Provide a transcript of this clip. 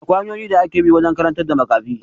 Akwai hanyoyin da ake bi wajen karantar na makafi